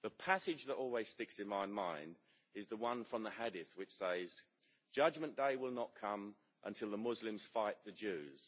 The passage that always sticks in my mind is the one from the Hadith which says Judgement day will not come until the Muslims fight the Jews.